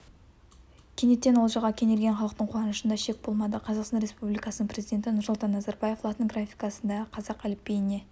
кенеттен олжаға кенелген халықтың қуанышында шек болмады қазақстан республикасының президенті нұрсұлтан назарбаев латын графикасындағы қазақ әліпбиіне